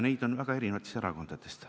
Neid on väga erinevatest erakondadest.